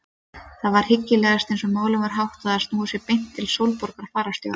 Það var hyggilegast eins og málum var háttað að snúa sér beint til Sólborgar fararstjóra.